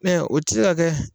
Mɛ o ti se ka kɛ